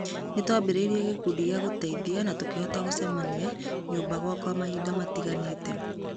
Nĩtwambĩrĩirĩe gĩkundi gĩa gũteithĩa na tũkihota gũcemania nyũmba gwakwa mahinda matiganĩte.